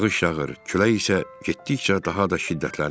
Yağış yağır, külək isə getdikcə daha da şiddətlənirdi.